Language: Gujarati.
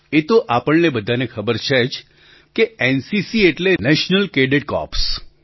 એ તો આપણને બધાને ખબર છે જ કે એનસીસી એટલે નેશનલ કેડેટ કૉર્પ્સ